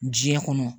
Diɲɛ kɔnɔ